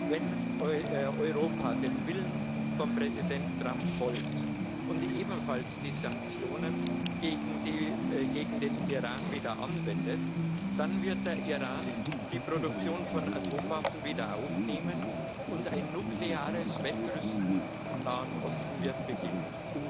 Wenn Europa dem Willen von Präsident Trump folgt und ebenfalls die Sanktionen gegen den Iran wieder anwendet, dann wird der Iran die Produktion von Atomwaffen wieder aufnehmen, und ein nukleares Wettrüsten im Nahen Osten wird beginnen.